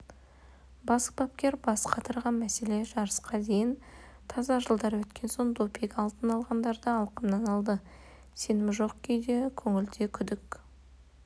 бас бапкер бас қатырған мәселе жарысқа дейін таза жылдар өткен соң допинг алтын алғандарды алқымнан алды сенім жоқ көңілде күдік